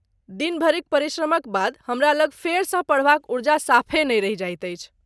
दिन भरिक परिश्रमक बाद हमरा लग फेरसँ पढ़बाक ऊर्जा साफे नहि रहि जाइत अछि।